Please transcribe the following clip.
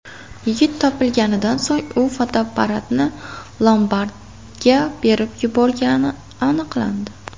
Yigit topilganidan so‘ng u fotoapparatni lombardga berib yuborgani aniqlandi.